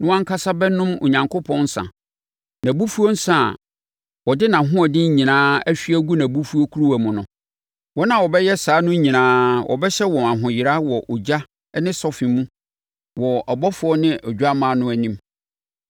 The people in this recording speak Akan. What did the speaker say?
no ankasa bɛnom Onyankopɔn nsã, nʼabufuo nsã a ɔde nʼahoɔden nyinaa ahwie agu nʼabufuo kuruwa mu no. Wɔn a wɔbɛyɛ saa no nyinaa, wɔbɛhyɛ wɔn ahoyera wɔ ogya ne sɔfe mu wɔ abɔfoɔ ne Odwammaa no anim.